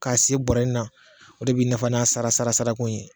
K'a se bɔra in na ,o de bɛ n'a fɔ sara sara sarara ko in ye.